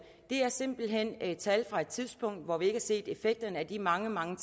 det er simpelt hen tal fra et tidspunkt hvor vi ikke har set effekterne af de mange mange